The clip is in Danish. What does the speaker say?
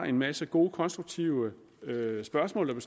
en masse gode konstruktive spørgsmål